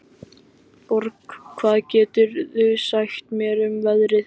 Borg, hvað geturðu sagt mér um veðrið?